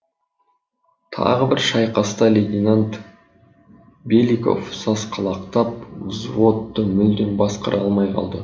тағы бір шайқаста лейтенант беликов сасқалақтап взводты мүлдем басқара алмай қалды